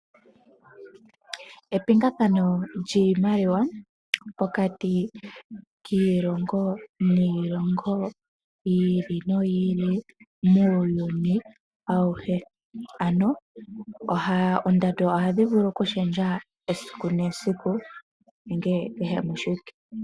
Epingathano lyiimaliwa pokati kiilongo niilongo, yi ili no yi ili muuyuni awuhe, ano oondando ohadhi vulu kushendja esiku nesiku nenge kehe moshiwike.